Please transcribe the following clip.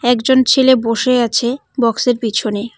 একজন ছেলে বসে আছে বক্স -এর পিছনে।